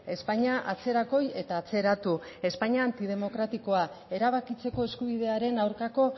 espainia atzerakoi eta atzeratu espainia antidemokratikoa erabakitzeko eskubidearen aurkako